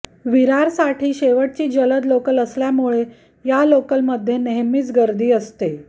विरारसाठी शेवटची जलद लोकल असल्यामुळे या लोकलमध्ये नेहमीच गर्दी असते